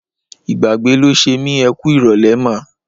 Ìgbàgbé ló ṣe mí. Ẹ kú ìrọ̀lẹ́ mà.